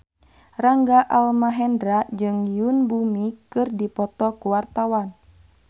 Rangga Almahendra jeung Yoon Bomi keur dipoto ku wartawan